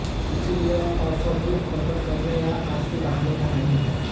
इसलिए यह अवसर दुख प्रकट करने या आँसू बहाने का नहीं है